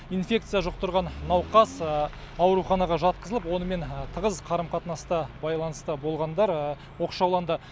инфекция жұқтырған науқас ауруханаға жатқызылып онымен тығыз қарым қатынаста байланыста болғандар оқшауланды